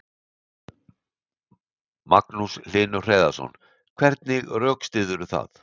Magnús Hlynur Hreiðarsson: Hvernig rökstyðurðu það?